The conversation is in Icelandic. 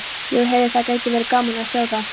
Já, heyrðu. það gæti verið gaman að sjá það!